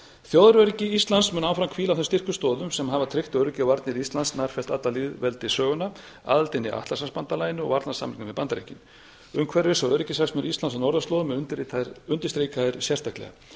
þjóðaröryggi íslands mun áfram hvíla á þeim styrku stoðum sem hafa tryggt öryggi og varnir íslands nærfellt alla lýðveldissöguna aðildina að atlantshafsbandalaginu og varnarsamningnum við bandaríkin umhverfis og öryggishagsmunir íslands á norðurslóðum eru undirstrikaðir sérstaklega